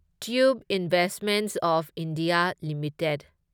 tube Investments of India limited